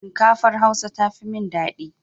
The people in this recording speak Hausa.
Shinkafar Hausa tafi min dadi.